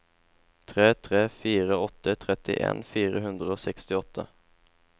tre tre fire åtte trettien fire hundre og sekstiåtte